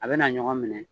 A bɛna ɲɔgɔn minɛ